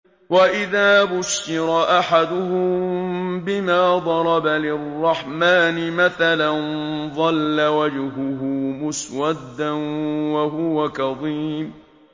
وَإِذَا بُشِّرَ أَحَدُهُم بِمَا ضَرَبَ لِلرَّحْمَٰنِ مَثَلًا ظَلَّ وَجْهُهُ مُسْوَدًّا وَهُوَ كَظِيمٌ